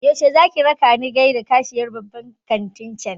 Yaushe zaki rakani gaida kashiyar babban kantin cen?